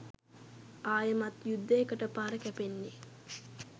අයෙමත් යුද්ධයකට පාර කැපෙන්නේ.